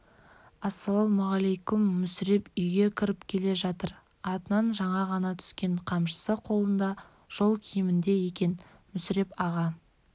ассалаумалейкем мүсіреп үйге кіріп келе жатыр атынан жаңа ғана түскен қамшысы қолында жол киімінде екен мүсіреп аға